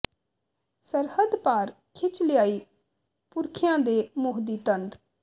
ਸਰਹੱਦ ਪਾਰ ਖਿੱਚ ਲਿਆਈ ਪੁਰਖਿਆਂ ਦੇ ਮੋਹ ਦੀ ਤੰਦ